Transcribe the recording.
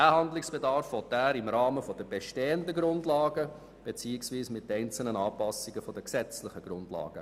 Diesem will er im Rahmen der bestehenden gesetzlichen Grundlagen oder durch einzelne Anpassungen derselben nachkommen.